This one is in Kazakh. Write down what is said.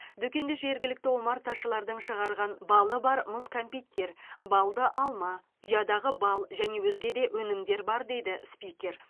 дүкенде жергілікті омарташылардың шығарған балы бар мұз кәмпиттер балды алма ұядағы бал және өзге де өнімдер бар дейді спикер